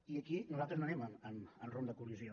i aquí nosaltres no anem en rumb de col·lisió